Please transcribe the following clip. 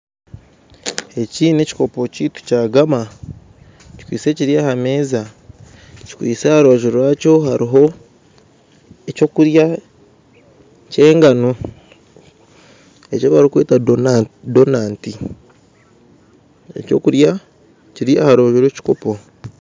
Eki nekikopo kyaitu Kya gama kikwitse Kiri aha meeza kikwitse aha rubaju rwakyo hariho ekyokurya kyengano ekibarukweta donati ekyokurya Kiri aharubaju rwekikopo.